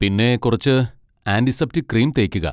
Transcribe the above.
പിന്നെ കുറച്ച് antiseptic cream തേക്കുക.